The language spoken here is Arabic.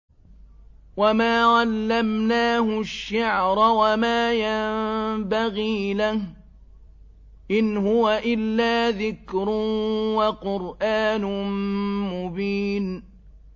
وَمَا عَلَّمْنَاهُ الشِّعْرَ وَمَا يَنبَغِي لَهُ ۚ إِنْ هُوَ إِلَّا ذِكْرٌ وَقُرْآنٌ مُّبِينٌ